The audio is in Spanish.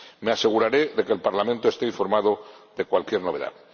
Me aseguraré de que el Parlamento esté informado de cualquier novedad.